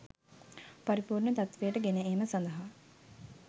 පරිපූර්ණ තත්වයට ගෙන ඒම සඳහා